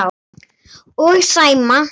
Og Sæma.